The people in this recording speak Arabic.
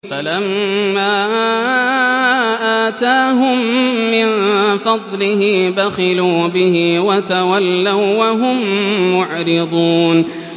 فَلَمَّا آتَاهُم مِّن فَضْلِهِ بَخِلُوا بِهِ وَتَوَلَّوا وَّهُم مُّعْرِضُونَ